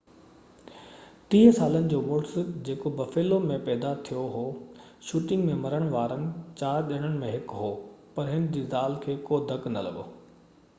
30 سالن جو مڙس جيڪو بفيلو ۾ پيدا ٿيو هو شوٽنگ ۾ مرڻ وارن 4 ڄڻن ۾ هڪ هو پر هن جي زال کي ڪو ڌڪ نہ لڳو هو